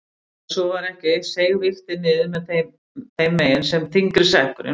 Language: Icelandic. Ef svo var ekki seig vigtin niður þeim megin sem þyngri sekkurinn var.